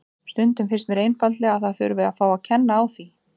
Stundum finnst mér einfaldlega að það þurfi að fá að kenna á því.